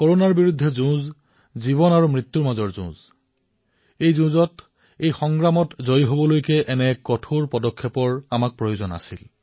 কৰনাৰ বিৰুদ্ধে যুঁজ জীৱন আৰু মৃত্যুৰ মাজৰ যুঁজৰ দৰে আৰু এই যুদ্ধত আমি জয়ী হব লাগিব আৰু সেইবাবেই এই কঠোৰ পদক্ষেপ গ্ৰহণ কৰাটো আৱশ্যক আছিল